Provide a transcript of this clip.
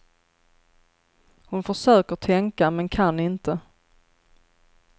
Hon försöker tänka men kan inte.